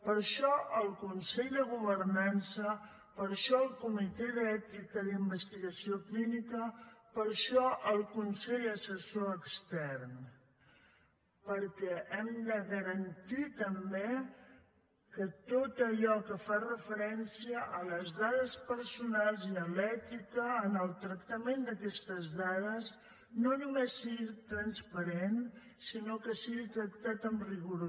per això el consell de governança per això el comitè d’ètica d’investigació clínica per això el consell assessor extern perquè hem de garantir també que tot allò que fa referència a les dades personals i a l’ètica en el tractament d’aquestes dades no només sigui transparent sinó que sigui tractat amb rigor